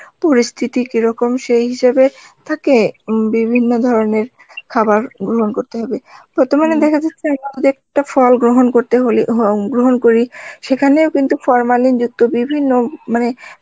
পরিস্থিতি কিরকম সেই হিসাবে তাকে বিভিন্ন ধরনের খাবার গ্রহণ করতে হবে ফল গ্রহণ করতে হলে গ্রহণ করি, সেখানেও কিন্তু formalin যুক্ত বিভিন্ন মানে